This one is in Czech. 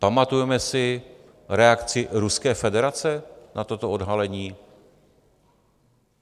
Pamatujeme si reakci Ruské federace na toto odhalení?